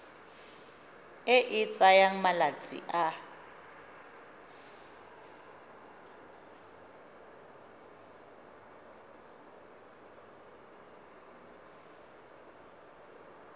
e e tsayang malatsi a